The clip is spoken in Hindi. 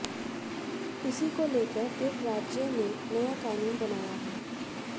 इसी को लेकर एक राज्य ने नया कानून बनाया है